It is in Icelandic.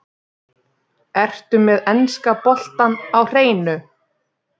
Ertu með enska boltann á hreinu?